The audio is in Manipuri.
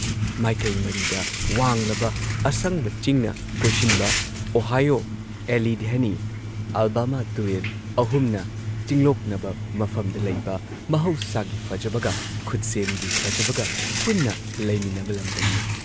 ꯃꯥꯏꯀꯩ ꯃꯔꯤꯗ ꯋꯥꯡꯂꯕ, ꯑꯁꯪꯕ ꯆꯤꯡꯅ ꯀꯣꯏꯁꯤꯟꯕ, ꯑꯣꯍꯥꯏꯌꯣ, ꯑꯦꯂꯤꯙꯦꯅꯤ, ꯑꯥꯜꯕꯥꯃꯥ ꯇꯨꯔꯦꯜ ꯑꯍꯨꯝꯅ ꯆꯤꯡꯂꯣꯛꯅꯕ ꯃꯐꯝꯗ ꯂꯩꯕ ꯃꯍꯧꯁꯥꯒꯤ ꯐꯖꯕꯒ, ꯈꯨꯠꯁꯦꯝꯒꯤ ꯐꯖꯕꯒ ꯄꯨꯟꯅ ꯂꯩꯃꯤꯟꯅꯕ ꯂꯝꯗꯝꯅꯤ ꯫